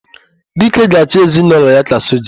Dike ga-achị ezinaụlọ ya ka soja.